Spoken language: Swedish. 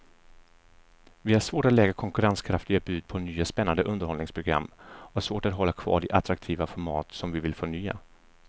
Vi har svårt att lägga konkurrenskraftiga bud på nya spännande underhållningsprogram och svårt att hålla kvar de attraktiva format som vi vill förnya.